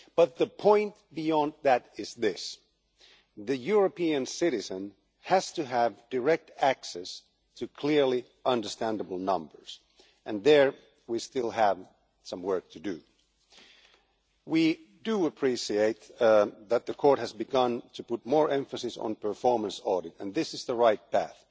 But the point beyond that is this the European citizen has to have direct access to clearly understandable numbers, and there we still have some work to do. We do appreciate that the Court has begun to put more emphasis on performance audit and this is the right path.